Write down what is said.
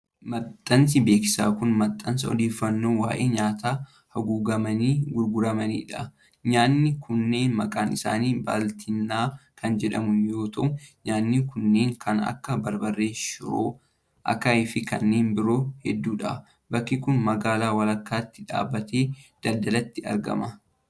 Maxxansi beeksisaa kun, maxxansa odeeffannoo waa'ee nyaata haguugamanii gurguramanii dha. Nyaanni kunneen maqaan isaanii baaltinnaa kan jedhamu yoo ta'u, nyaanni kunneen kan akka:barbarree, shiroo, akaayii fi kanneen biroo hedduu dha. Bakki kun, magaalaa walakkaatti dhaabbata daldalaatti argama.